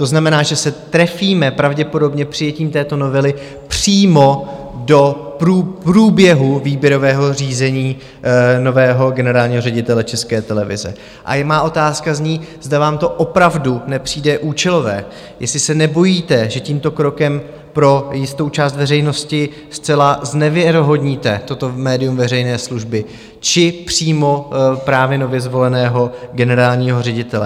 To znamená, že se trefíme pravděpodobně přijetím této novely přímo do průběhu výběrového řízení nového generálního ředitele České televize a má otázka zní, zda vám to opravdu nepřijde účelové, jestli se nebojíte, že tímto krokem pro jistou část veřejnosti zcela znevěrohodníte toto médium veřejné služby či přímo právě nově zvoleného generálního ředitele?